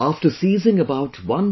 After seizing about 1